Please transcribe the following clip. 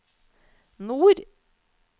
nord